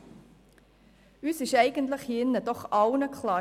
Die EVP-Fraktion empfindet dies als schwaches Argument.